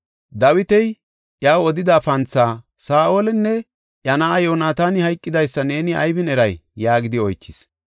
Dawiti iyaw odida panthaa, “Saa7olinne iya na7aa Yoonataani hayqidaysa neeni aybin eray?” yaagidi oychis.